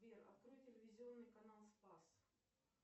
сбер открой телевизионный канал спас